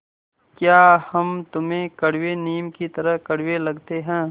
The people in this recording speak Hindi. या हम तुम्हें कड़वे नीम की तरह कड़वे लगते हैं